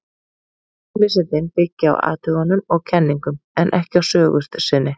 Raunvísindin byggja á athugunum og kenningum, en ekki á sögu sinni.